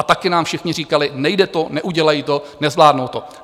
A taky nám všichni říkali, nejde to, neudělají to, nezvládnou to.